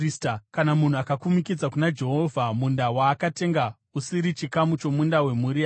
“ ‘Kana munhu akakumikidza kuna Jehovha munda waakatenga, usiri chikamu chomunda wemhuri yake,